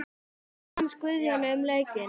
Hvað fannst Guðjóni um leikinn?